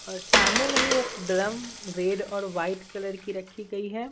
और सामने में ही एक ड्रम रेड और वाइट कलर की रखी गई है।